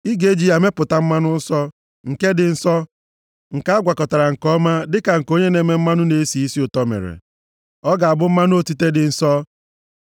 Ị ga-eji ya mepụta mmanụ nsọ, nke dị nsọ, nke a gwakọtara nke ọma dịka nke onye na-eme mmanụ na-esi isi ụtọ mere. Ọ ga-abụ mmanụ otite dị nsọ.